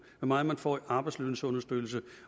hvor meget man får i arbejdsløshedsunderstøttelse